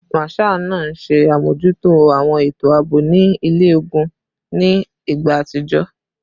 Marshal naa nṣe amojuto awọn eto aabo ni ile-ogun ni igba atijọ